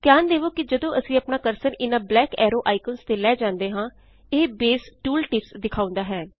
ਧਿਆਨ ਦੇਵੇ ਕੇ ਜਦੋਂ ਅਸੀਂ ਆਪਣਾ ਕਰਸਰ ਇਨਾਂ ਬਲੈਕ ਐਰੇ ਆਇਕਨਜ਼ ਤੇ ਲੈ ਜਾਂਦੇ ਹਾਂ ਇਹ ਬੇਸ ਟੂਲ ਟਿਪਸ ਦਿਖਾਉਂਦਾ ਹੈ